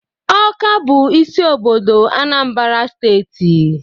Awka bụ isi obodo Anambra Steeti